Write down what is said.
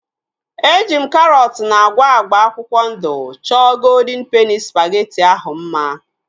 Eji m karọt na agwa agba akwụkwọ ndụ chọọ goldịn peni spageti ahu mma